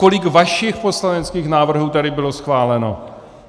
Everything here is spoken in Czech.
Kolik vašich poslaneckých návrhů tady bylo schváleno?